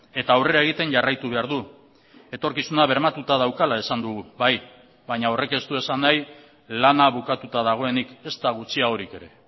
eta aurrera egiten jarraitu behar du etorkizuna bermatuta daukala esan dugu bai baina horrek ez du esan nahi lana bukatuta dagoenik ezta gutxiagorik ere